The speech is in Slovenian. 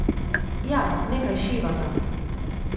Ja, nekaj šivata.